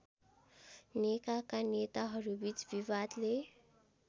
नेकाका नेताहरूबीच विवादले